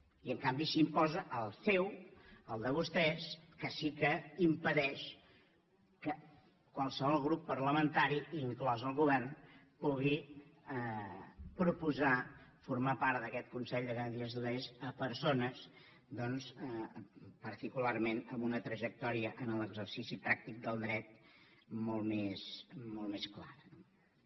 i en canvi s’imposa el seu el de vostès que sí que impedeix que qualsevol grup parlamentari inclòs el govern pugui proposar formar part d’aquest consell de garanties estatutàries a persones doncs particularment amb una trajectòria en l’exercici pràctic del dret molt més clara no bé